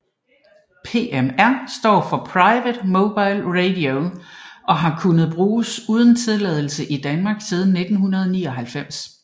PMR står for Private Mobile Radio og har kunnet bruges uden tilladelse i Danmark siden 1999